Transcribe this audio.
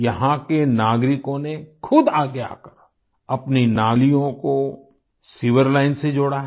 यहाँ के नागरिकों ने खुद आगे आकर अपनी नालियों को सीवर लाइन से जोड़ा है